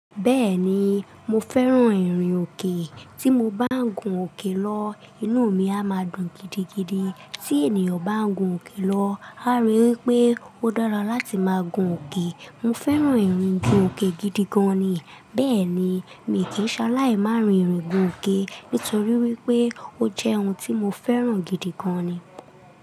Bẹ́ẹ̀ni, mo fẹ́ràn ìrìn òkè. Tí mo bá ń gun òkè lọ, inú mi a máa dùn gidigidi. Tí ènìyàn bá ń gun òkè lọ, á rí wípé ó dára láti máa gun òkè. Mo fẹ́ràn ìrìn gun òkè gidi gan ni. Bẹ́ẹ̀ ni, mi kì í ṣaláì máa rin ìrìn gun òkè, nítorí wípé ó jẹ́ ohun tí mo fẹ́ràn gidi gan ni.